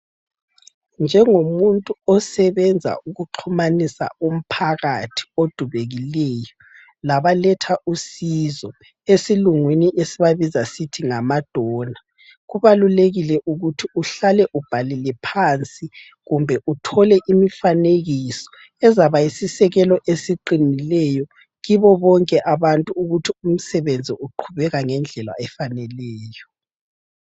Njengomuntu osebenza ukuxhumanisa umphakathi odubekileyo, labaletha usizo. Esilungwini esibabiza sisithi ngamadona..Kubalulekile ukuthi uhlale ubhalile phansi kumbe uthole imifanekiso, ezaba yisisekelo esiqinileyo, kibo bonke abantu ukuthi umsebenzi uqhubeka ngendlela efaneleyo.